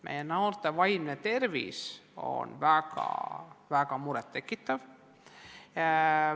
Meie noorte vaimne tervis on väga-väga muret tekitav.